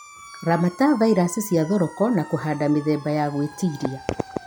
Ramata vairasi cia thoroko na kũhanda mĩthemba ya gwĩtiria